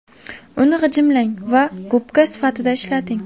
Uni g‘ijimlang va gubka sifatida ishlating.